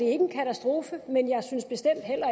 en katastrofe men jeg synes bestemt heller